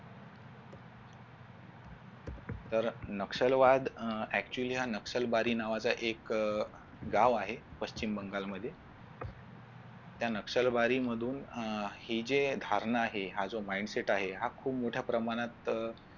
तर नक्षलवाद हा actually हा नक्षलबारी नावाचा एक गाव आहे पश्चिम बंगाल मध्ये त्या नक्षलबारीमधून अह हि जे धारणा आहे हा जो mindset आहे हा खूप मोठ्या प्रमाणात